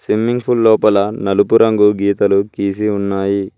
Swimming pool లోపల నలుపు రంగు గీతాలు గీసి ఉన్నాయి.